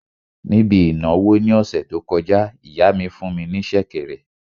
Níbi ìnáwó ní ọ̀sẹ̀ tó kọjá, ìyá mi fún ní sẹ̀kẹ̀rẹ̀